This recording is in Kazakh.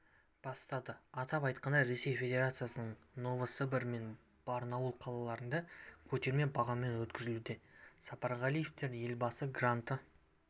бастады атап айтқанда ресей федерациясының новосібір мен барнаул қалаларында көтерме бағамен өткізілуде сапарғалиевтер елбасы гранты